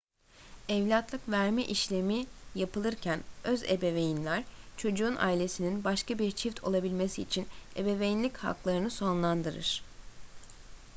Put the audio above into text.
evlatlık verme işlemi yapılırken öz ebeveynler çocuğun ailesinin başka bir çift olabilmesi için ebeveynlik haklarını sonlandırır